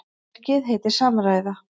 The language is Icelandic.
Verkið heitir Samræða.